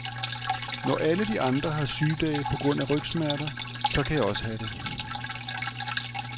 Når alle de andre har sygedage på grund af rygsmerter, så kan jeg også have det.